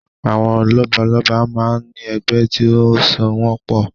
Àwọn lọ́balọ́ba máa ń ní ẹgbẹ́ tí ó so wọn pọ̀